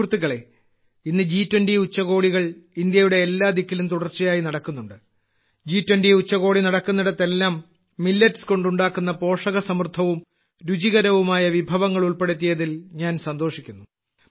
സുഹൃത്തുക്കളേ ഇന്ന് ജി20 ഉച്ചകോടികൾ ഇന്ത്യയുടെ എല്ലാ ദിക്കിലും തുടർച്ചയായി നടക്കുന്നുണ്ട് ജി20 ഉച്ചകോടി നടക്കുന്നിടത്തെല്ലാം മില്ലറ്റ്സ് കൊണ്ട് ഉണ്ടാക്കുന്ന പോഷകസമൃദ്ധവും രുചികരവുമായ വിഭവങ്ങൾ ഉൾപ്പെടുത്തിയതിൽ ഞാൻ സന്തോഷിക്കുന്നു